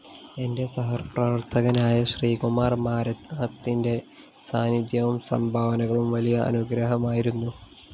എന്റെ സഹപ്രവര്‍ത്തകനായ ശ്രീകുമാര്‍ മാരാത്തിന്റെ സാന്നിദ്ധ്യവും സംഭാവനകളും വലിയ അനുഗ്രഹമായിരുന്നു